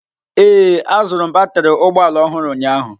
Ee, azụrụ m batrị ụgbọ ala ọhụrụ ụnyaahụ.